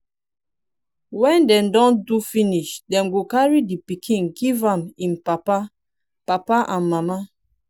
wen dem don do finish dem go carry di pikin give em papa papa and mama